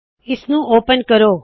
ਇਸ ਨੂੰ ਓਪਨ ਕਰੋ